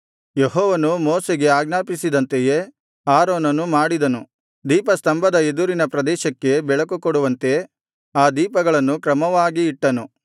ಯೆಹೋವನು ಮೋಶೆಗೆ ಆಜ್ಞಾಪಿಸಿದಂತೆಯೇ ಆರೋನನು ಮಾಡಿದನು ದೀಪಸ್ತಂಭದ ಎದುರಿನ ಪ್ರದೇಶಕ್ಕೆ ಬೆಳಕುಕೊಡುವಂತೆ ಆ ದೀಪಗಳನ್ನು ಕ್ರಮವಾಗಿ ಇಟ್ಟನು